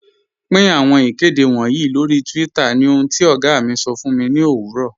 Pin awọn ikede wọǹyì lọ́ri twitter ni ohun ti ọ̀gá mi sọ̀ fun mi ni owurọ̀.